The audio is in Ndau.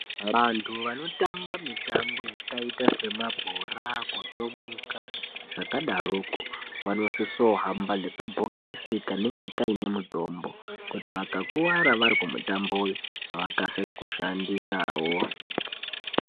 Vantu vanotamba mitambo vanosisa kuhamba nechibhokisi kanenge kanemitombo kuti vakakuvara varikumitambo uyu vakasire kukashandisawo.